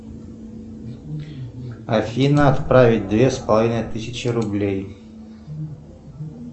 афина отправить две с половиной тысячи рублей